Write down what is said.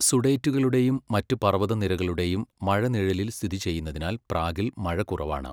സുഡേറ്റുകളുടെയും മറ്റ് പർവതനിരകളുടെയും മഴനിഴലിൽ സ്ഥിതിചെയ്യുന്നതിനാൽ പ്രാഗിൽ മഴ കുറവാണ്.